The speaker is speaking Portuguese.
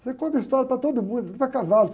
Eu conto história para todo mundo, até para cavalo.